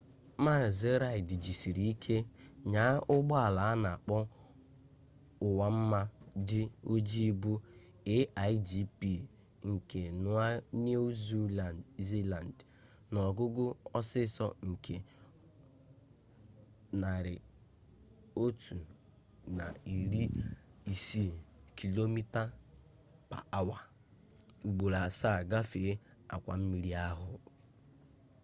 mazi reid jisiri ike nyaa ụgbọala a na-akpọ nwa mma dị oji bụ a1gp nke niu ziland n'ogugo ọsọ nke 160km/h ugboro asaa gafee akwa mmiri ahụ